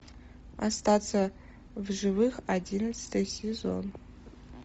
остаться в живых одиннадцатый сезон